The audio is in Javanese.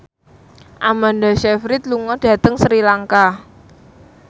Amanda Sayfried lunga dhateng Sri Lanka